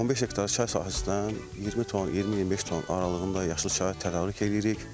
15 hektar çay sahəsindən 20 ton, 20-25 ton aralığında yaşıl çay tədarük edirik.